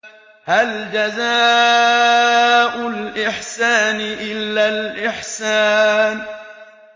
هَلْ جَزَاءُ الْإِحْسَانِ إِلَّا الْإِحْسَانُ